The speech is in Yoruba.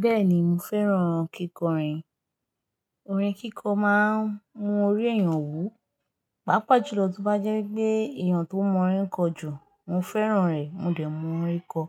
Bẹ́ẹ̀ni, mo fẹ́ràn kíkọrin. Orin kíkọ máa ń mú orí èèyàn wú. Páapa jùlọ, tí bá jẹ́ pé èèyàn tó mọ orin kọ jù, mo fẹ́ràn rẹ̀, mo dẹ̀ mọ orin kọ.